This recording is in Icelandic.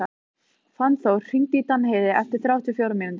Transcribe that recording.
Fannþór, hringdu í Danheiði eftir þrjátíu og fjórar mínútur.